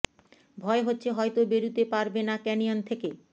ভয় হচ্ছে হয়তো বেরুতে পারবে না ক্যানিয়ন থেকে